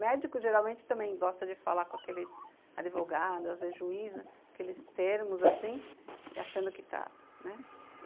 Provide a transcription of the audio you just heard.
Médicos, geralmente, também gostam de falar com aqueles advogados, às vezes, juízes, aqueles termos, assim, e achando que está, né?